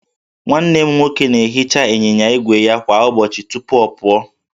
Nwanne m nwoke na-ehicha ịnyịnya ígwè ya kwa ụbọchị tupu ọ pụọ